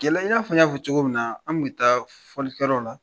Kɛlɛ i y'a fɔ n y'a fɔ cogo min na an tun bɛ taa fɔliyɔrɔw la